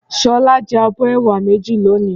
Ṣọlá jẹ abọ́ ẹ̀wà méjì lónìí.